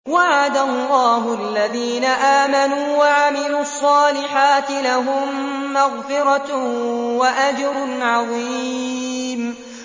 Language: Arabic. وَعَدَ اللَّهُ الَّذِينَ آمَنُوا وَعَمِلُوا الصَّالِحَاتِ ۙ لَهُم مَّغْفِرَةٌ وَأَجْرٌ عَظِيمٌ